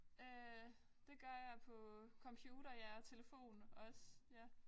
Øh det gør jeg på computer ja og telefon også ja